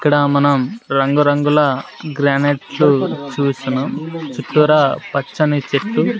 ఇక్కడ మనం రంగురంగుల గ్రానైట్లు చూస్తున్నాం చుట్టూరా పచ్చని చెట్టు--